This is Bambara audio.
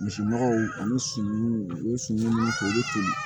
Misi makaw olu si k'olu to